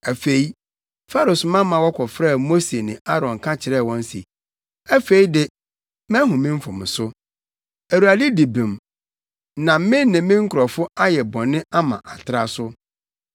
Afei, Farao soma ma wɔkɔfrɛɛ Mose ne Aaron ka kyerɛɛ wɔn se, “Afei de, mahu me mfomso. Awurade di bem na me ne me nkurɔfo ayɛ bɔne ama atra so.